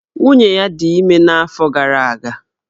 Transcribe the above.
Nwunye ya dị ime n'afọ gara aga.